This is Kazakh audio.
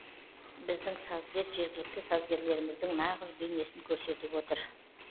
біздің сазгер жергілікті сазгерлеріміздің нағыз бейнесін көрсетіп отыр